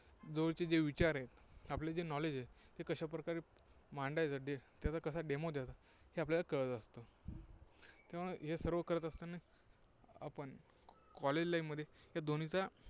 जवळचे जे विचार आहेत, आपले जे knowledge आहे, ते कशा प्रकारे मांडायचं, त्याचा कसा Demo द्यायचा, हे आपल्याला कळलं असतं. किंवा हे सर्व करत असताना आपण college life मध्ये या दोन्हींचा